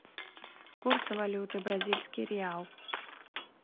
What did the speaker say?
курсы валюты бразильский реал